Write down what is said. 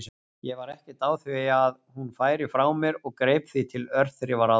Ég var ekkert á því að hún færi frá mér og greip því til örþrifaráðs.